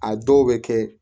A dɔw bɛ kɛ